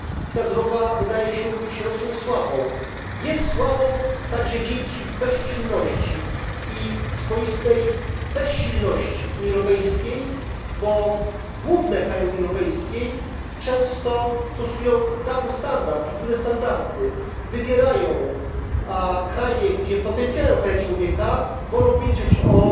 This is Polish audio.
Ta druga wydaje się być Rosją słabą. Jest słabą także dzięki bezczynności i swoistej bezsilności Unii Europejskiej, bo główne kraje Unii Europejskiej często stosują podwójne standardy wybierają kraje, gdzie potępiają łamanie praw człowieka, a wolą milczeć